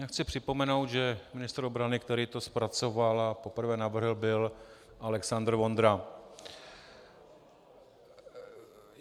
Já chci připomenout, že ministr obrany, který to zpracoval a poprvé navrhl, byl Alexandr Vondra.